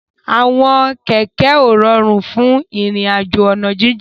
Àwọn kẹ̀kẹ́ ó ròrún fún irin àjó ọ̀nà jijin